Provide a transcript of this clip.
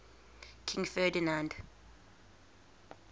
king ferdinand